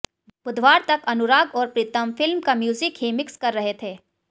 बुधवार तक अनुराग और प्रीतम फिल्म का म्यूजिक ही मिक्स कर रहे थे